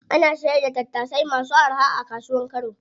Ana sayar da tattasai masu araha a kasuwar kano.